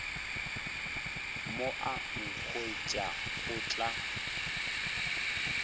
mo a nkhwetša go tla